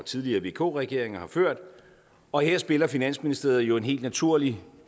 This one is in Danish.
tidligere vk regeringer har ført og her spiller finansministeriet jo en helt naturlig